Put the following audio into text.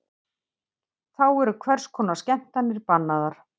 Þá eru hvers konar skemmtanir bannaðar